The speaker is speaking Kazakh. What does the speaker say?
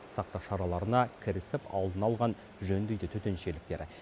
сақтық шараларына кірісіп алдын алған жөн дейді төтеншеліктер